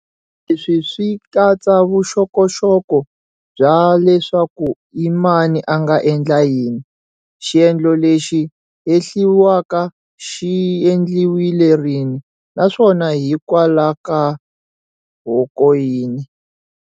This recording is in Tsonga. Leswi swi katsa vuxokoxoko bya leswaku i mani a nga endla yini, xiendlo lexi hehliwaka xi endliwile rini, naswona hikwalahoka yini.